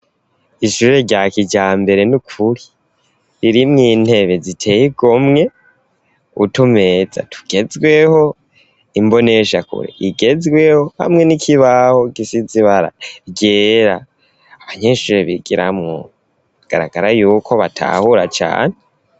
Ishure ryakijambere n'ukuri, irimwo intebe ziteye igomwe, utumeza tugezweho, imbonesha kure igezweho, hamwe n'ikibaho gisize ibara ryera abanyeshure bigiramwo bigaragara yuko batahura cane.